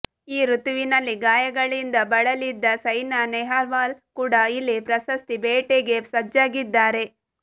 ಈ ಋತುವಿನಲ್ಲಿ ಗಾಯಗಳಿಂದ ಬಳಲಿದ್ದ ಸೈನಾ ನೆಹ್ವಾಲ್ ಕೂಡ ಇಲ್ಲಿ ಪ್ರಶಸ್ತಿ ಬೇಟೆಗೆ ಸಜ್ಜಾಗಿದ್ದಾರೆ